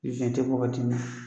tɛ ye wagati min na.